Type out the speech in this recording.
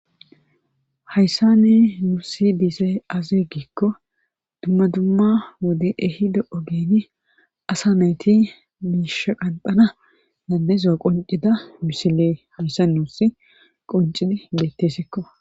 Hayssan nuuni be'izay aazee giiko dumma dumma wode ehido oggen asa nayti miisha qanxana danda'izo qonccida misile hayssan nuusi qonccidi beeteskko.